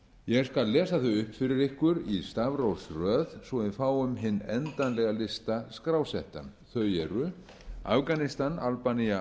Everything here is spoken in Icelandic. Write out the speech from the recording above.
ég skal lesa þau upp fyrir ykkur í stafrófsröð svo að við fáum hinn endanlega lista skrásettan þau eru afganistan albanía